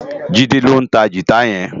Jide ló ntá gitá yèn